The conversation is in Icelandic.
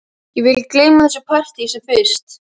Ég vil gleyma þessu partíi sem fyrst.